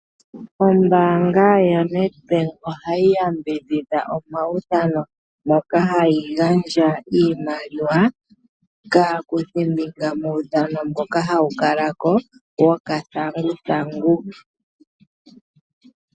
Ombaanga yaNedbank ohayi yambidhidha omaudhano, moka hayi gandja iimaliwa kaakuthimbinga muudhano mboka hawukala ko wuuthanguthangu.